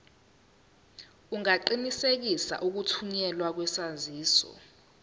ungaqinisekisa ukuthunyelwa kwesaziso